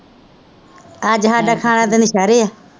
ਅੱਜ ਸਾਡਾ ਖਾਣਾ ਤਾਂ ਨੌਸ਼ਹਿਰੇ ਹੈ